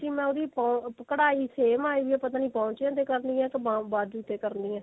ਕਿ ਮੈਂ ਉਹਦੀ ਪੋੰ ਕਢਾਈ same ਆਈ ਆ ਪਤਾ ਨੀ ਪੋਚਿਆਂ ਤੇ ਕਰਨੀ ਆ ਕੇ ਬਾਜੂ ਤੇ ਕਰਨੀ ਏ